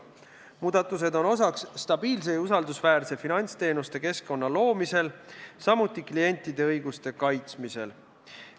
Muudatused on osa stabiilse ja usaldusväärse finantsteenuste keskkonna loomisest, samuti klientide õiguste kaitsmisest.